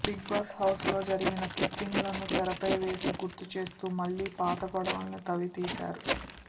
big Boss house లో జరిగిన clipping లను తెరపై వేసి గుర్తుచేస్తూ మళ్లీ పాత గొడవలని తవ్వితీశారు